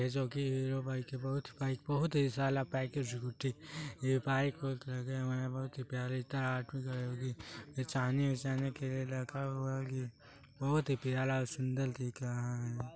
ये जो कि हीरो बाइक है बहुत ही बहुत ही ये बाइक उइक रखे हुए है बहुत ही प्यारा बेचाने उचाने के लिए रखा हुआ है बहुत ही प्यारा सुंदर दिख रहा है।